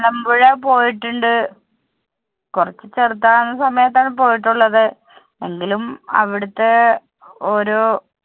മലമ്പുഴ പോയിട്ടുണ്ട് കുറച്ചു ചെറുതായിരുന്ന സമയത്ത് ആണ് പോയിട്ടുള്ളത്. എങ്കിലും അവിടത്തെ ഓരോ.